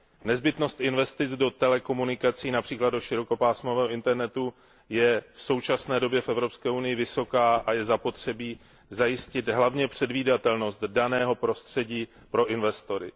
Nezbytnost investic do telekomunikací, například do širokopásmového internetu, je v současné době v Evropské unii vysoká a je zapotřebí zajistit hlavně předvídatelnost daného prostředí pro investory.